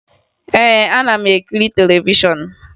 Ee, ana m ekiri televishọn